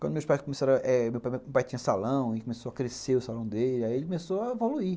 Quando meu pai tinha salão e começou a crescer o salão dele, aí ele começou a evoluir.